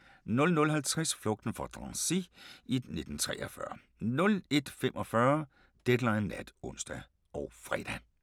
00:50: Flugten fra Drancy i 1943 01:45: Deadline Nat (ons og fre)